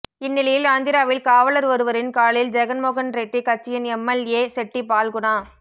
இந்நிலையில் ஆந்திராவில் காவலர் ஒருவரின் காலில் ஜெகன் மோகன் ரெட்டி கட்சியின் M L A Chetti Phalguna